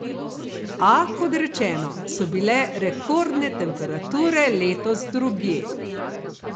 A, kot rečeno, so bile rekordne temperature letos drugje.